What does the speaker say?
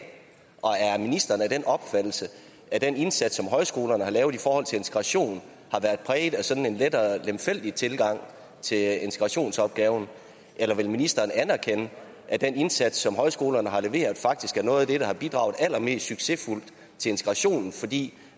og er ministeren af den opfattelse at den indsats som højskolerne har gjort i forhold til integration har været præget af sådan en lettere lemfældig tilgang til integrationsopgaven eller vil ministeren anerkende at den indsats som højskolerne har leveret faktisk er noget af det der har bidraget allermest succesfuldt til integrationen fordi